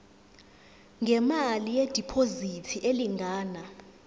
ngemali yediphozithi elingana